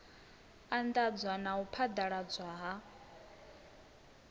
anḓadza na u phaḓaladzwa ha